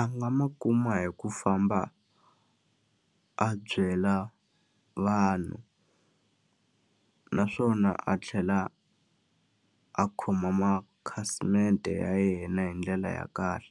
A nga ma kuma hi ku famba a byela vanhu, naswona a tlhela a khoma makhasimende ya yena hi ndlela ya kahle.